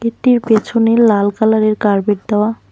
পেছনে লাল কালারের কার্পেট দেওয়া।